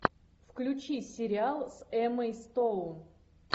включи сериал с эммой стоун